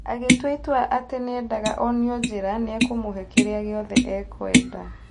Agĩtua itua atĩ nĩendaga onio njĩra niekũmũhe kĩrĩa giothe ekwenda.